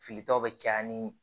Filitaw bɛ caya ni